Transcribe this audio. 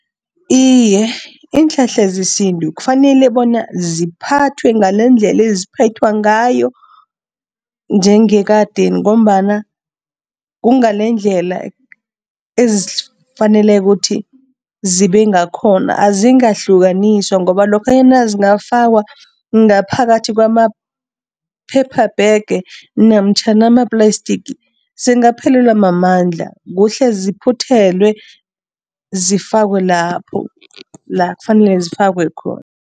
Iye, iinhlahla zesintu kufanele bona ziphathwe ngalendlela eziphethwa ngayo njengekadeni ngombana kungalendlela ezifanele ukuthi zibe ngakhona. Azingahlukaniswa ngoba lokhanyana zingafakwa ngaphakathi kwama-paper bag namtjhana ama-plastic, zingaphelelelwa mamandla. Kuhle ziphuthelwe, zifakwe lapho, la kufanele zifakwe khona.